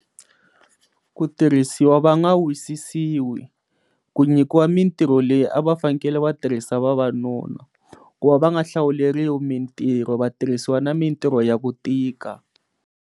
Ku tirhisiwa va nga wisisiwi, ku nyikiwa mintirho leyi a vafanele vatirhisa vavanuna ku va va nga hlawuleriwi mintirho vatirhisiwa na mintirho ya ku tika.